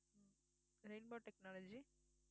rainbow technology